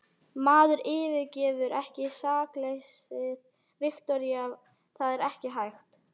Maður yfirgefur ekki sakleysið, Viktoría, það er ekki hægt.